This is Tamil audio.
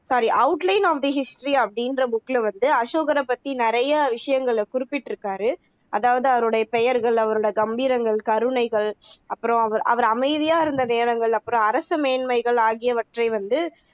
sorry outline of the history அப்படின்ற book ல வந்து அசோகரை பத்தி நிறைய விஷயங்களை குறிப்பிட்டுருக்காரு அதாவது அவருடைய பெயர்கள், அவரோட கம்பீரங்கள், கருணைகள் அப்பறம் அவர் அவரு அமைதியா இருந்த நேரங்கள் அப்பறம் அரசு மேன்மைகள் ஆகியவற்றை வந்து